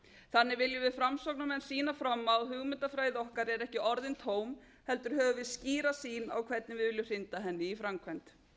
þannig viljum við framsóknarmenn sýna fram á að hugmyndafræði okkar er ekki orðin tóm heldur höfum við skýra sýn á hvernig við viljum hrinda henni í framkvæmd